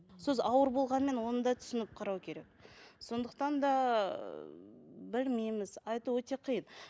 сөз ауыр болғанмен оны да түсініп қарау керек сондықтан да ы білмейміз айту өте қиын